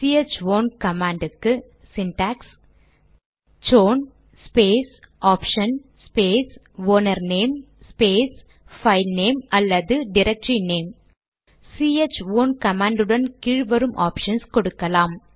C H own command க்கு syntax chown space option space owner name space file name அல்லது directory name C H own command உடன் கீழ் வரும் options கொடுக்கலாம்